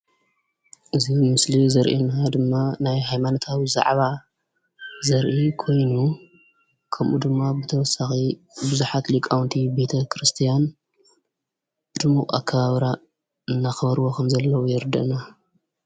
እዚ ምስሊ ዘርእየና ድማ ናይ ሃይማኖታዊ ዛዕባ ዘርኢ ኮይኑ ከምኡ ድማ ብተወሳኺ ብዙሓት ሊቃውንቲ ቤተ ክርስቲያን ብድሙቕ ኣከባብራ እናኽበሩ ከምዘለዉ የርድአና፡፡